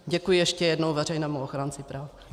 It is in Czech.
Děkuji ještě jednou veřejnému ochránci práv.